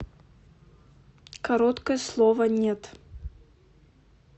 короткое слово нет